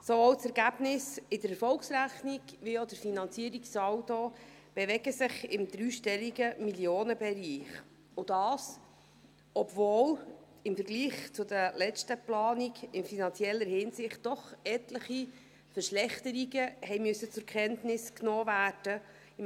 Sowohl das Ergebnis der Erfolgsrechnung als auch der Finanzierungssaldo bewegen sich im dreistelligen Millionenbereich, und dies, obwohl im Vergleich zur letzten Planung in finanzieller Hinsicht doch etliche Verschlechterungen zur Kenntnis genommen werden mussten.